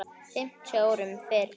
fimmtíu árum fyrr.